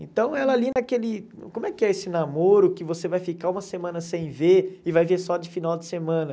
Então ela ali naquele... Como é que é esse namoro que você vai ficar uma semana sem ver e vai ver só de final de semana?